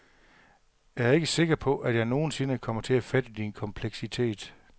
Jeg er ikke sikker på, at jeg nogen sinde kommer til at fatte din kompleksitet.